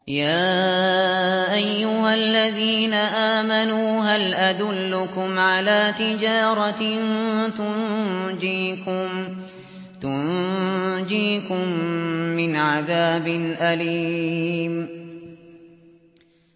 يَا أَيُّهَا الَّذِينَ آمَنُوا هَلْ أَدُلُّكُمْ عَلَىٰ تِجَارَةٍ تُنجِيكُم مِّنْ عَذَابٍ أَلِيمٍ